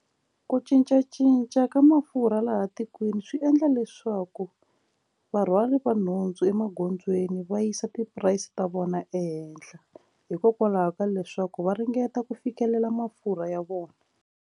Ku cincacinca ka mafurha laha tikweni swi endla leswaku varhwali nhundzu emagondzweni va yisa ti price ta vona ehenhla hikokwalaho ka leswaku va ringeta ku fikelela mafurha ya vona.